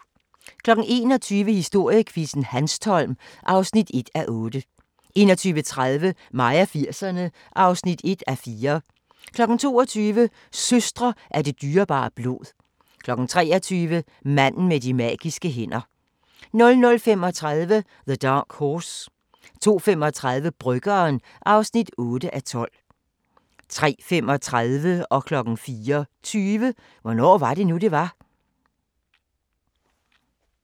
21:00: Historiequizzen: Hanstholm (1:8) 21:30: Mig og 80'erne (1:4) 22:00: Søstre af det dyrebare blod 23:00: Manden med de magiske hænder 00:35: The Dark Horse 02:35: Bryggeren (8:12) 03:35: Hvornår var det nu, det var? 04:20: Hvornår var det nu, det var?